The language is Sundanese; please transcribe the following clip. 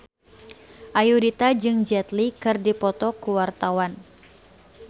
Ayudhita jeung Jet Li keur dipoto ku wartawan